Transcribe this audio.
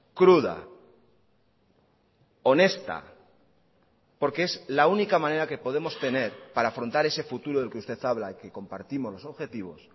cruda honesta porque es la única manera que podemos tener para afrontar ese futuro del que usted habla que compartimos los objetivos